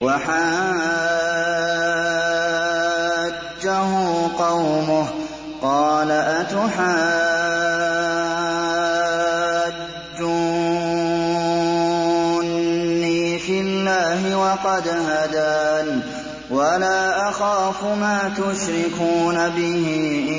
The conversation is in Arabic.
وَحَاجَّهُ قَوْمُهُ ۚ قَالَ أَتُحَاجُّونِّي فِي اللَّهِ وَقَدْ هَدَانِ ۚ وَلَا أَخَافُ مَا تُشْرِكُونَ بِهِ